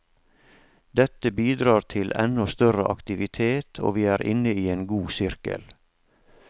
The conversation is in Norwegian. Dette bidrar til ennå større aktivitet og vi er inne i en god sirkel.